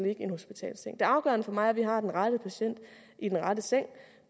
i en hospitalsseng det afgørende for mig er at vi har den rette patient i den rette seng